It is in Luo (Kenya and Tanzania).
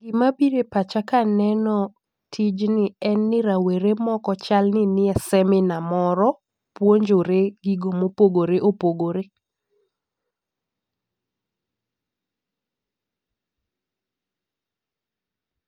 Gima bire pacha kaneno tijni en ni rawere moko chal ni ni e seminar moro puonjore gigo mopogore opogore